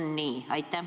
Kas on nii?